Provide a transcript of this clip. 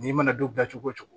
N'i mana don dilan cogo cogo